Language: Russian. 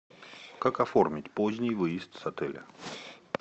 как оформить поздний выезд с отеля